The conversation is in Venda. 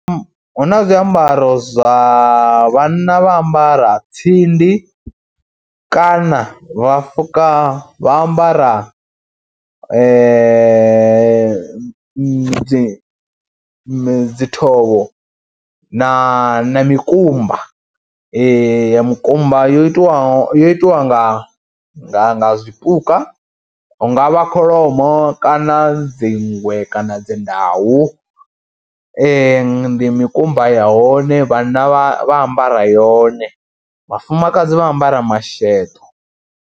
Hu na zwiambaro zwa, vhanna vha ambara tsindi kana vha fuka, vha ambara dzi dzi mme dzi thovho na mikumba ya mukumba yo itiwaho yo itiwa nga nga nga zwipuka hu nga vha kholomo kana dzi nngwe kana dzi ndau, ndi mikumba ya hone., vhanna vha ambara yone. Vhafumakadzi vha ambara masheḓo.